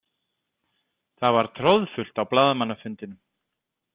Það var troðfullt á blaðamannafundinum.